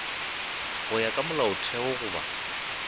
go ya ka molaotheo goba